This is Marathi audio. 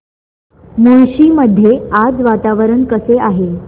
मुळशी मध्ये आज वातावरण कसे आहे